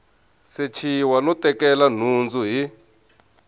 sechiwa no tekela nhundzu hi